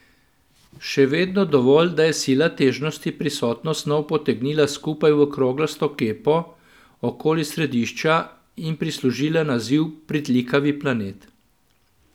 Še vedno dovolj, da je sila težnosti prisotno snov potegnila skupaj v kroglasto kepo okoli središča in prislužila naziv pritlikavi planet.